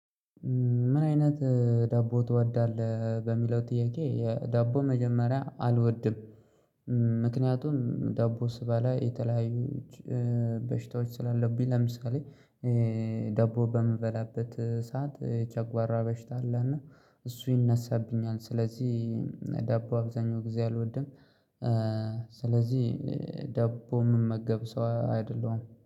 ምን አይነት ዳቦ ትወዳለህ በሚለው ጥያቄ የ ዳቦ መጀመሪያ አልወድም። ምክንያቱም ዳቦ ስበላ የተለያዩ በሽታዎች ስላለብኝ ለምሳሌ ዳቦ በምበላበት ሰዓት የጨጓራ በሽታ አለ እና እሱ ይነሳብኛል ስለዚህ ዳቦ አብዛኛው ጊዜ አልወድም ስለዚህ ዳቦ ምመገብ ሰው አይደለሁም።